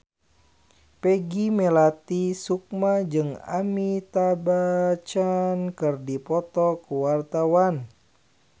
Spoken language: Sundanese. Peggy Melati Sukma jeung Amitabh Bachchan keur dipoto ku wartawan